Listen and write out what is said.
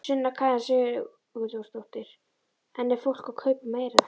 Sunna Karen Sigurþórsdóttir: En er fólk að kaupa meira?